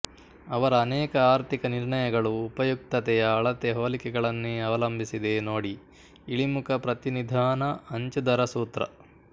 ಅವರ ಅನೇಕ ಆರ್ಥಿಕ ನಿರ್ಣಯಗಳು ಉಪಯುಕ್ತತೆಯ ಅಳತೆ ಹೋಲಿಕೆಗಳನ್ನೇ ಅವಲಂಬಿಸಿದೆ ನೋಡಿಇಳಿಮುಖಪ್ರತಿನಿಧಾನಅಂಚುದರಸೂತ್ರ